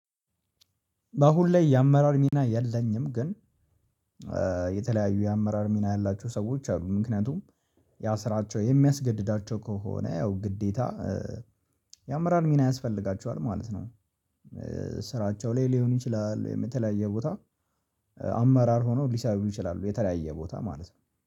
በአሁን ላይ የአመራር ሚና የለኝም። ግን የተለያዩ የአመራር ሚና ያላችሁ ሰዎች አሉ ምክንያቱም ያ ስራቸው የሚያስገድዳቸው ከሆነ ያው ግዴታ የአመራር ሚና ያስፈልጋቸዋል ማለት ነው። ስራቸው ላይ ሊሆን ይችላል የምትለያየው ቦታ። አመራር ሆኖ ሊሰሩ ይችላሉ የተለያየ ቦታ ማለት ነው